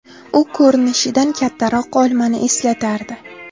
U ko‘rinishidan kattaroq olmani eslatardi.